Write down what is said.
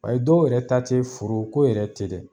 Ayi dɔw yɛrɛ ta te foro ko yɛrɛ te dɛ